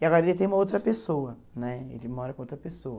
E agora ele tem uma outra pessoa né, ele mora com outra pessoa.